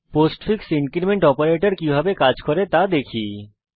postfix increment operator কিভাবে কাজ করে তা দেখা যাক